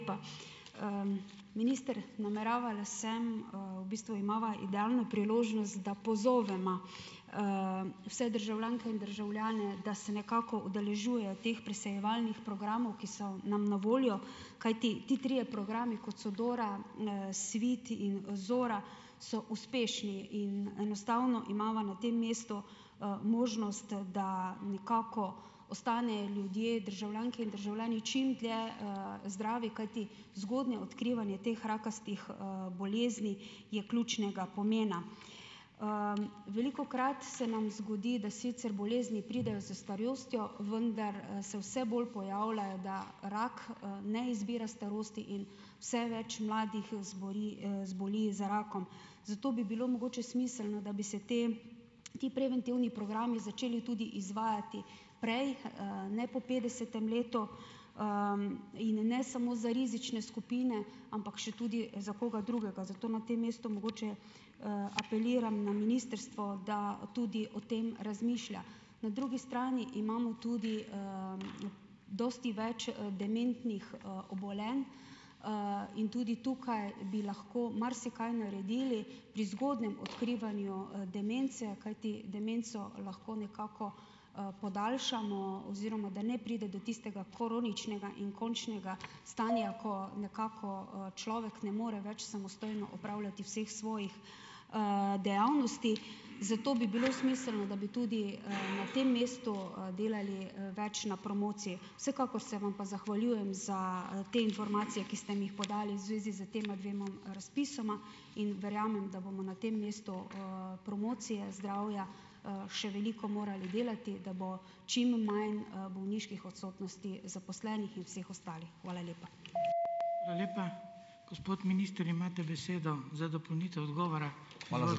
minister, nameravala sem, v bistvu imava idealno priložnost, da pozovema, vse državljanke in državljane, da se nekako udeležujejo teh presejevalnih programov, ki so nam na voljo, kajti ti trije programi, kot so Dora, Svit in, Zora, so uspešni in enostavno imava na tem mestu, možnost, da nekako ostanejo ljudje, državljanke in državljani, čim dlje, zdravi, kajti zgodnje odkrivanje teh rakastih, bolezni je ključnega pomena. velikokrat se nam zgodi, da bolezni sicer pridejo s starostjo, vendar, se vse bolj pojavljajo, da rak, ne izbira starosti in vse več mladih, zboli, zboli za rakom. Zato bi bilo mogoče smiselno, da bi se te, ti preventivni programi začeli tudi izvajati prej, ne po petdesetem letu, in ne samo za rizične skupine, ampak tudi še za koga drugega. Zato na tem mestu mogoče, apeliram na ministrstvo, da tudi o tem razmišlja. Na drugi strani imamo tudi, dosti več, dementnih, obolenj, in tudi tukaj bi lahko marsikaj naredili pri zgodnem odkrivanju, demence, kajti demenco lahko nekako, podaljšamo oziroma, da ne pride do tistega kroničnega končnega stanja, ko nekako, človek ne more več samostojno opravljati vseh svojih, dejavnosti, zato bi bilo smiselno , da bi tudi, na tem mestu, delali, več na promociji. Vsekakor se vam pa zahvaljujem za, te informacije, ki ste mi jih podali v zvezi s tema dvema razpisoma in verjamem, da bomo na tem mestu, promocije zdravja, še veliko morali delati, da bo čim manj, bolniških odsotnosti zaposlenih in vseh ostalih. Hvala lepa.